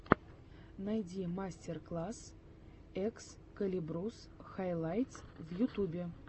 найди мастер класс экскалибурс хайлайтс в ютюбе